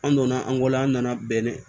An donna an bɔla an nana bɛn ne